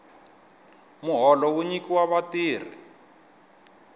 muholo wu nyikiwa vatirhi